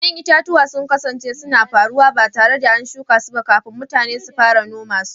Ƴa'ƴan itatuwa sun kasance suna faruwa ba tare da an shuka su ba kafin mutane su fara noma su.